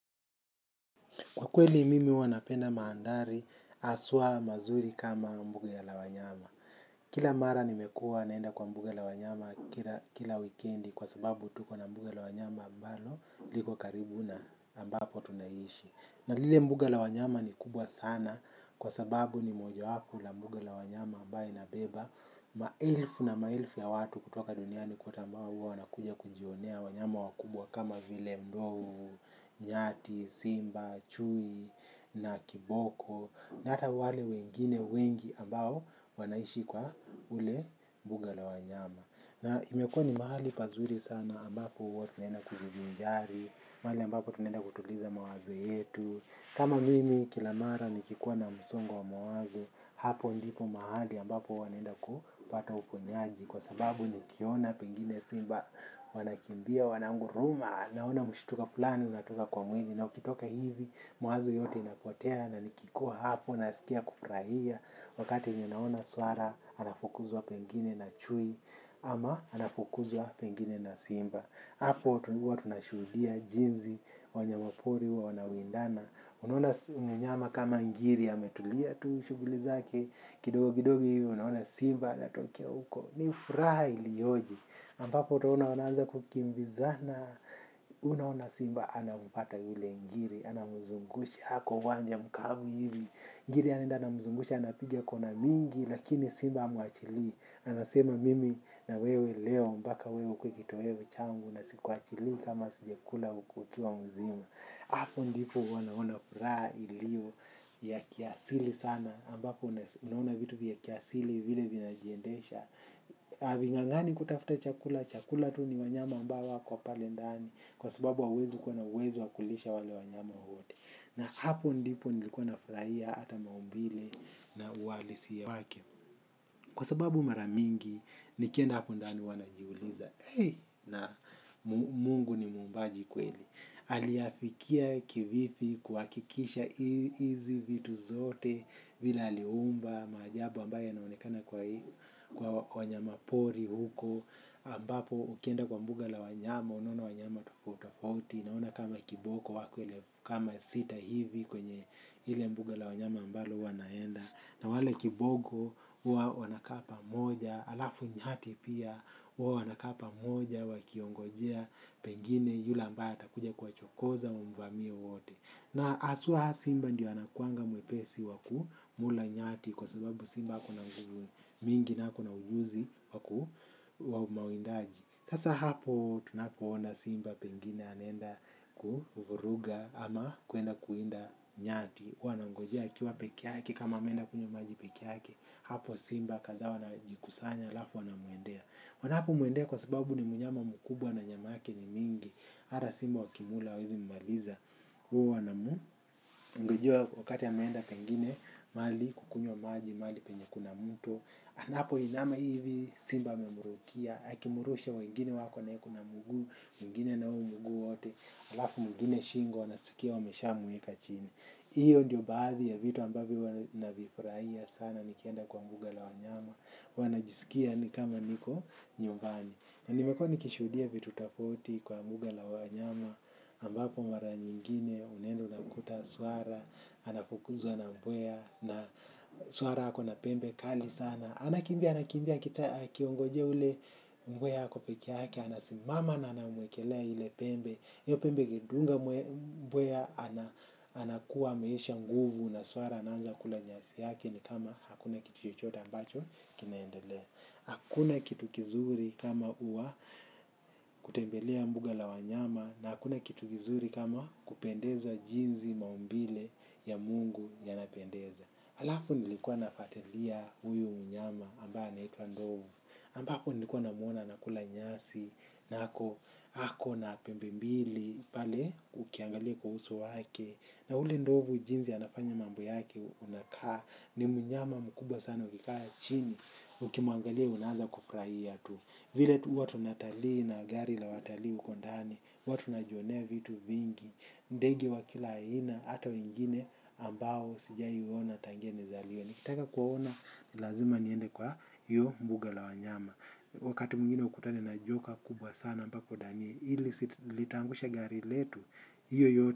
Kwa kweli mimi huwa napenda mandhari haswa mazuri kama mbuga la wanyama. Kila mara nimekuwa naenda kwa mbuga la wanyama kila wikendi kwa sababu tuko na mbuga la wanyama ambalo liko karibu na ambapo tunaishi. Na lile mbuga la wanyama ni kubwa sana kwa sababu ni mojawapo la mbuga la wanyama ambaye labeba. Maelfu na maelfu ya watu kutoka duniani kwote ambao huwa wanakuja kujionea wanyama wakubwa kama vile ndovu, nyati, simba, chui na kiboko. Na hata wale wengine wengi ambao wanaishi kwa ule mbuga la wanyama. Na imekuwa ni mahali pazuri sana ambapo huwa tunaenda kujivinjari, mahali ambapo tunaenda kutuliza mawazo yetu. Kama mimi kila mara nikikuwa na msongo wa mawazo, hapo ndipo mahali ambapo huwa naenda kupata uponyaji kwa sababu nikiona pengine simba, wanakimbia, wananguruma, naona mshtuko fulani, unatoka kwa mwili. Na ukitoka hivi, mawazo yote inapotea na nikikuwa hapo, nasikia kufurahia. Wakati ninaona swara, anafukuzwa pengine na chui, ama anafukuzwa pengine na simba hapo watu huwa tunashuhudia jinsi wanyamapori huwa wanawindana unaona si mnyama kama ngiri ametulia tu shughuli zake kidogo kidogo hivyo unaona simba anatokea huko ni furaha ilioje ambapo utaona wanaanza kukimbizana unaona simba anampata yule ngiri anamzungusha kwa uwanja mkavu hivi ngiri anaenda anamzungusha, anapiga kona mingi lakini simba hamuachilii anasema mimi na wewe leo mpaka wewe ukuwe kitoweo changu na sikuachilii kama sijakula ukuki wa mzima, hapo ndipo huwa naona furaha ilio ya kiasili sana ambapo unaona vitu vya kiasili vile vinajiendesha havingangani kutafuta chakula, chakula tu ni wanyama ambao wako pale ndani kwa sababu hauwezi kuwa na uwezo wa kulisha wale wanyama wote na hapo ndipo nilikuwa nafurahia hata maumbile na uhalisia wake kwa sababu mara mingi nikienda hapo ndani huwa najiuliza na Mungu ni muumbaji kweli, aliyafikia kivipi kuhakikisha hizi vitu zote vile aliumba maajabu ambayo yanaonekana kwa wanyama pori huko ambapo ukienda kwa mbuga la wanyama unaona wanyama tofauti tofauti, naona kama kiboko wako elfu kama sita hivi kwenye ile mbuga la wanyama ambalo huwa naenda na wale kiboko huwa wanakaa pamoja. Halafu nyati pia huwa wanakaa pamoja wakiongojea pengine yule ambaye atakuja kuwachokoza wamvamie wote. Na haswa simba ndiyo anakuanga mwepesi wa kumla nyati kwa sababu simba kuna venye mingi na ako na ujuzi wa mawindaji. Sasa hapo tunapoona simba pengine anaenda kuvuruga ama kuenda kuwinda nyati huwa anangojea akiwa peke yake kama ameenda kunywa maji peke yake. Hapo simba kadhaa wanajikusanya alafu wanamuendea, wanapomuendea kwa sababu ni mnyama mkubwa na nyama yake ni mingi hata simba wakimla hawawezi mmaliza wanamngojea wakati ameenda pengine mahali kukunywa maji mahali penye kuna mto, anapoinama hivi simba amemrukia akimrusha wengine wako naye kua na mguu mwingine na huu mguu wote halafu mwingine shingo wanashtukia wameshamweka chini. Hiyo ndiyo baadhi ya vitu ambavyo huwa navifurahia sana nikienda kwa mbuga la wanyama. Wanajisikia ni kama niko nyumbani. Na nimekuwa nikishuhudia vitu tofauti kwa mbuga la wanyama ambapo mara nyingine unaenda unakuta swara anafukuzwa na mbwea na swara ako na pembe kali sana. Anakimbia anakimbia akiongojea yule mbwea ako peke yake, anasimama na anamwekelea ile pembe. Hiyo pembe ingedunga mbwea anakuwa ameisha nguvu na swara anaanza kula nyasi yak ni kama hakuna kitu chochote ambacho kinaendelea. Hakuna kitu kizuri kama huwa kutembelea mbuga la wanyama na hakuna kitu kizuri kama kupendezwa jinsi maumbile ya Mungu yanapendeza. Halafu nilikuwa nafuatilia huyu mnyama ambaye anaitwa ndovu, ambapo nilikuwa namwona anakula nyasi na ako ako na pembe mbili pale ukiangalia kuhusu wake na yule ndovu jinsi anafanya mambo yake unakaa ni mnyama mkubwa sana ukikaa chini ukimwangalia unaanza kufurahia tu. Vile tu huwa tunatalii na gari la watalii huko ndani, huwa tunajionea vitu vingi, ndege wa kila aina, hata wengine ambao sijai waona tangia nizaliwe. Nikitaka kuwaona, ni lazima niende kwa hiyo mbuga la wanyama. Wakati mwingine ukutane na joka kubwa sana mpaka udhanie, hili si litaangusha gari letu, hiyo yote.